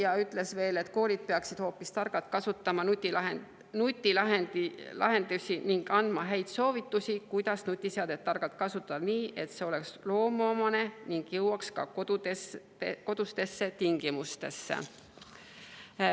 Ta ütles veel, et koolid peaksid targalt kasutama nutilahendusi ning andma häid soovitusi, kuidas nutiseadet targalt kasutada, et see oleks loomuomane ning jõuaks ka kodustesse tingimustesse.